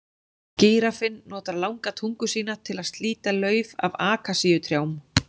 Gíraffinn notar langa tungu sína til að slíta lauf af akasíutrjám.